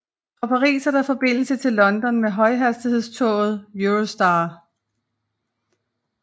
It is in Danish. Fra Paris er der forbindelse til London med højhastighedstoget Eurostar